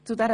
Ja Nein